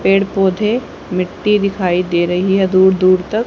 पेड़ पौधे मिट्टी दिखाई दे रही हैं दूर दूर तक--